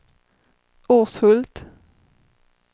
Urshult